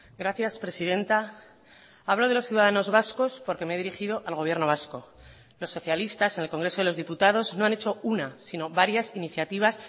gracias presidenta hablo de los ciudadanos vascos porque me he dirigido al gobierno vasco los socialistas en el congreso de los diputados no han hecho una sino varias iniciativas